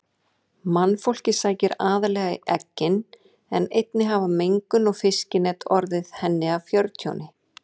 Mannfólkið sækir aðallega í eggin en einnig hafa mengun og fiskinet orðið henni að fjörtjóni.